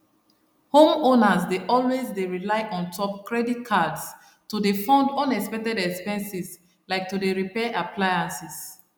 homeowners dey always dey rely untop credit cards to dey fund unexpected expenses like to dey repair appliances